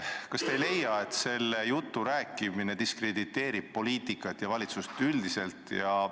Kas te ei leia, et selle jutu rääkimine diskrediteerib poliitikat ja valitsust üldiselt?